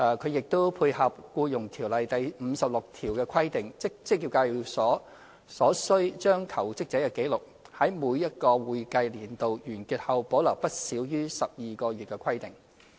它亦配合《僱傭條例》第56條的規定，即職業介紹所須將求職者紀錄，在每個會計年度完結後保留不少於12個月的規定。